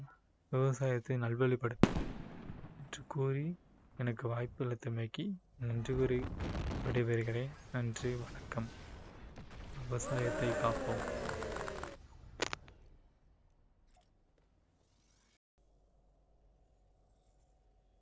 விவசாயத்தை நல்வழிப்படுத்துவோம் என்று கூறி எனக்கு வாய்ப்பளித்தமைக்கு நன்றி கூறி விடைபெறுகிறேன் நன்றி வணக்கம் விவசாயத்தை காப்போம்